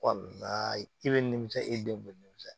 Kɔmi i bɛ nimisa e den bɛ nimisa